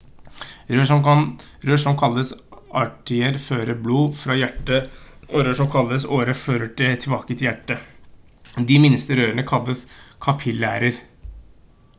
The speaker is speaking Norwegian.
rør som kalles arterier fører blod bort fra hjertet og rør som kalles årer fører det tilbake til hjertet de minste rørene kalles kapillærer